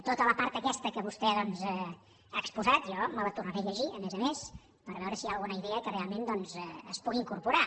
tota la part aquesta que vostè doncs ha exposat jo me la tornaré a llegir a més a més per veure si hi ha alguna idea que realment es pugui incorporar